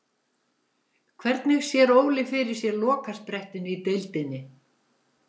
Hvernig sér Óli fyrir sér lokasprettinn í deildinni?